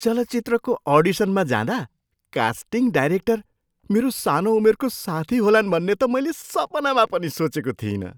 चलचित्रको अडिसनमा जाँदा कास्टिङ डाइरेक्टर मेरो सानो उमेरको साथी होलान् भन्ने त मैले सपना पनि सोचेको थिइनँ।